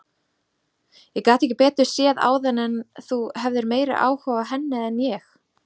Ég gat ekki betur séð áðan en þú hefðir meiri áhuga á henni en ég.